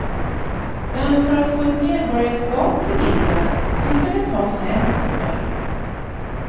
Men för att få ett medborgarskap beviljat brukar det ta fem år.